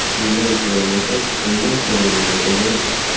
Sizdan so‘ramasak, kimdan so‘raylik, akajon?!